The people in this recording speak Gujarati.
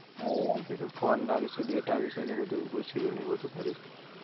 હવ આલ દીધું ફોન ના વિશે data વિશે ને બધુ પૂછ્યું. ને એવું બધું